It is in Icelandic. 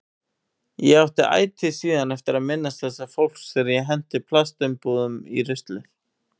Ég átti ætíð síðan eftir að minnast þessa fólks þegar ég henti plastumbúðum í ruslið.